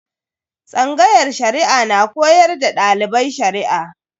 Tsangayar Shari'a na koyar da dalibai Shari'a.